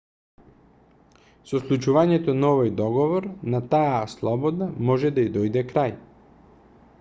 со склучувањето на овој договор на таа слобода може да ѝ дојде крај